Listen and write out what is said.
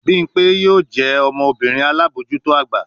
Bimpe yoo jẹ ọmọbirin alabojuto agba